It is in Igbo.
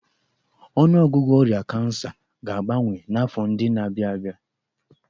Ọnụọgụgụ ọrịa kansa ga-abawanye n'afọ ndị na-abịa abịa.